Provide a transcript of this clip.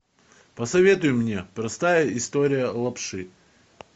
посоветуй мне простая история лапши